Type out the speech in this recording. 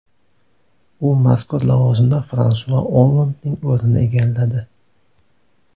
U mazkur lavozimda Fransua Ollandning o‘rnini egalladi.